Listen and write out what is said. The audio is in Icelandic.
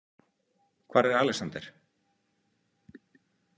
Hvar er Alexander?